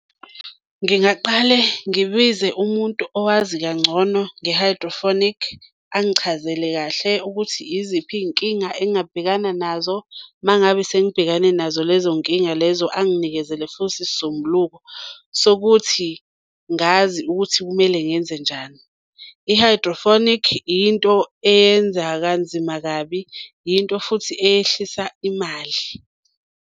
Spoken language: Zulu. Ngingaqale ngibize umuntu owazi kangcono nge-hydroponic, angichazele kahle ukuthi iziphi iy'nkinga engingabhekana nazo. Uma ngabe sengibhekane nazo lezo nkinga lezo anginikezele futhi isisombuluko sokuthi ngazi ukuthi kumele ngenzenjani. I-hydroponic yinto eyenza kanzima kabi, yinto futhi eyehlisa imali.